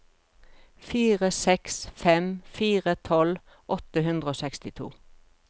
fire seks fem fire tolv åtte hundre og sekstito